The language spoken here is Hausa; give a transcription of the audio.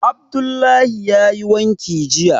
Abdullahi yayi wanki jiya